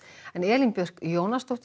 Elín Björk Jónasdóttir